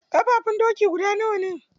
Ƙafafun doki guda nawa ne?